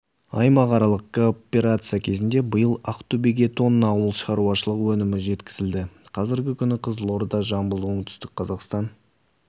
аймақаралық кооперация кезінде биыл ақтөбеге тонна ауыл шаруашылығы өнімі жеткізілді қазіргі күні қызылорда жамбыл оңтүстік қазақстан